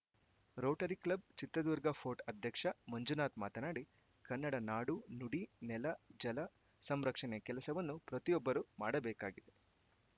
Rotary club Chitradurga fort ಅಧ್ಯಕ್ಷ ಮಂಜುನಾಥ್‌ ಮಾತನಾಡಿ ಕನ್ನಡ ನಾಡು ನುಡಿ ನೆಲ ಜಲ ಸಂರಕ್ಷಣೆಯ ಕೆಲಸವನ್ನು ಪ್ರತಿಯೊಬ್ಬರು ಮಾಡಬೇಕಾಗಿದೆ